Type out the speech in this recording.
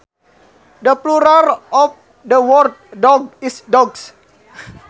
The plural of the word dog is dogs